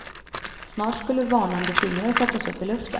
Snart skulle varnande fingrar sättas upp i luften.